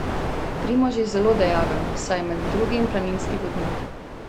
Primož je zelo dejaven, saj je med drugim planinski vodnik.